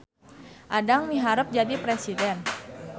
Adang miharep jadi presiden